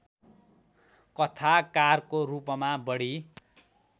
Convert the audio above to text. कथाकारको रूपमा बढी